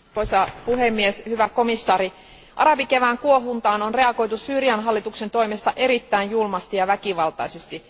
Arvoisa puhemies, hyvä komissaari, arabikevään kuohuntaan on reagoitu Syyrian hallituksen toimesta erittäin julmasti ja väkivaltaisesti.